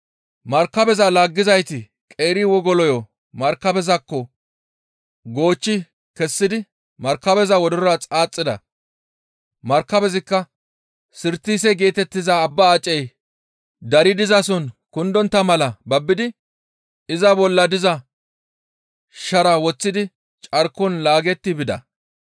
Markabeza laaggizayti qeeri wogoloyo markabezaakko goochchi kessidi markabeza wodorora xaaxida; markabezikka Sirtise geetettiza abba acey dari dizason kundontta mala babbidi iza bolla diza sharaa woththidi carkon laagetti bida.